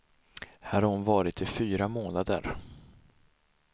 Här har hon varit i fyra månader.